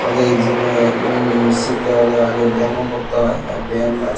ওদের জিম -এ উম্ শিখতে হলে আগে ব্যায়াম ও করতে হয় আর ব্যায়াম আর--